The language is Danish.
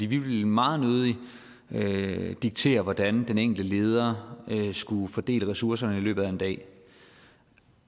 vi ville meget nødig diktere hvordan den enkelte leder skulle fordele ressourcerne i løbet af en dag